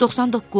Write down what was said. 99.